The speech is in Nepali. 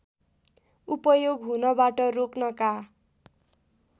उपयोग हुनबाट रोक्नका